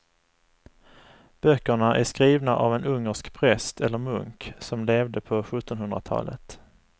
Böckerna är skrivna av en ungersk präst eller munk som levde på sjuttonhundratalet.